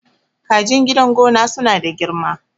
kajin gidan gona suna da girma